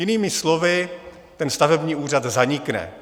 Jinými slovy, ten stavební úřad zanikne.